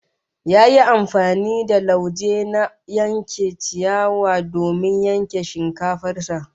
Ya yi amfani da lauje na yankar ciyawa domin yanke shinkafar sa